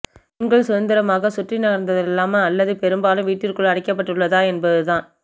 பெண்கள் சுதந்திரமாக சுற்றி நகர்த்தலாமா அல்லது பெரும்பாலும் வீட்டிற்குள் அடைக்கப்பட்டுள்ளதா என்பதுதான்